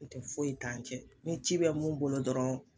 Ntɛ foyi t'an cɛ, ni ci bɛ mun bolo dɔrɔn